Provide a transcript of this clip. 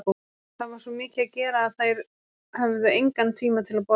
Það var svo mikið að gera að þær höfðu engan tíma til að borða.